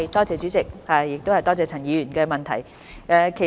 主席，多謝陳議員的補充質詢。